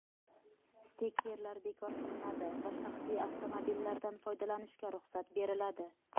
Stikerlar bekor qilinadi va shaxsiy avtomobillardan foydalanishga ruxsat beriladi.